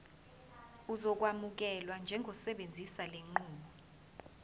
uzokwamukelwa njengosebenzisa lenqubo